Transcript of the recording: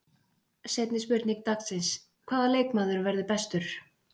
Seinni spurning dagsins: Hvaða leikmaður verður bestur?